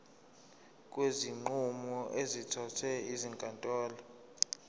kwezinqumo ezithathwe ezinkantolo